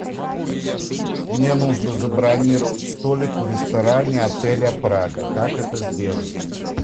мне нужно забронировать столик в ресторане отеля прага как это сделать